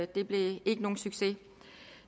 det blev ikke nogen succes